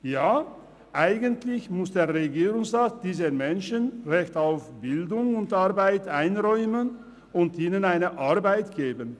Ja, eigentlich muss der Regierungsrat diesen Menschen ein Recht auf Bildung und Arbeit einräumen und ihnen eine Arbeit geben.